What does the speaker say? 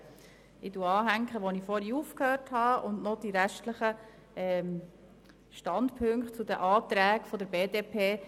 Ich fahre dort weiter, wo ich vorhin aufgehört habe, und deklariere noch die restlichen Standpunkte zu den Anträgen der BDP.